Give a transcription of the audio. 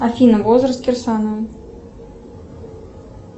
афина возраст кирсанова